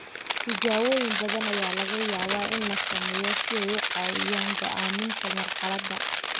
Tijaabooyin badan ayaa laga yaabaa in la sameeyo si ay u caawiyaan go'aaminta marxaladda.